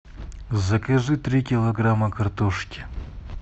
закажи три килограмма картошки